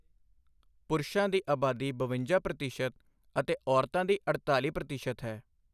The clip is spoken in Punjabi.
ਪੁਰਸ਼ਾਂ ਦੀ ਆਬਾਦੀ ਬਵੰਜਾ ਪ੍ਰਤੀਸ਼ਤ ਅਤੇ ਔਰਤਾਂ ਦੀ ਅੜਤਾਲੀ ਪ੍ਰਤੀਸ਼ਤ ਹੈ।